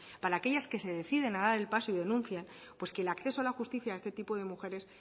para aquellas que se deciden dar el paso y denuncian pues que el acceso a la justicia a este tipo de mujeres